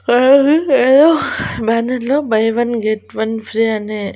బ్యానర్లో buy one get one free అని--